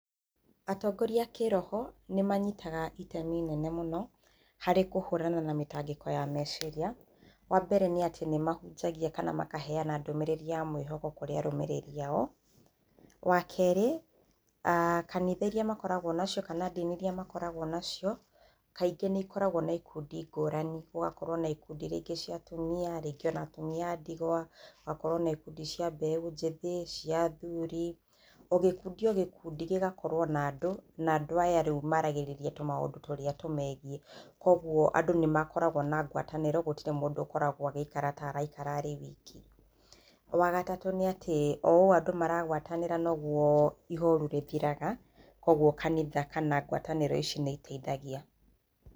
Atongoria a kĩroho nĩmanyitaga itemi inene mũno harĩ kũhũrana na mĩtangĩko ya meciria. Wambere nĩ atĩ nĩmahunjagia kana makaheana ndũmĩrĩri ya mwĩhoko kũrĩ arũmĩrĩri ao. Wa kerĩ, kanitha iria makoragwo nacio kana ndini iria makoragwo nacio, kaingĩ nĩikoragwo na ikundi ngũrani, gũgakorwo na ikundi iria ingĩ cia atumia, rĩngĩ ona atumia a ndigwa gũgakorwo na ikundi cia mbeũ njĩthĩ, cia athuri. O gĩkundi, o gĩkundi, gĩgakorwo na andũ, na andũ aya rĩu maragĩrĩria tũmaũndũ tũrĩa tũmegiĩ, kuoguo andũ nĩmakoragwo na ngwatanĩro, gũtirĩ mũndũ ũkoragwo agĩikara ta araikara e wiki. Wa gatatũ nĩatĩ, o ũũ andũ maragwatanĩra noguo ihorũ rĩthiraga, kuoguo kanitha kana ngwatanĩro ici nĩiteithagia.